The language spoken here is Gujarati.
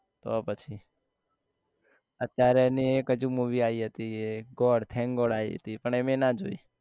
તો પછી અત્યારે એની એક હજી movie હતી એ god thank god આઈ હતી પણ મેં એ ના જોઈ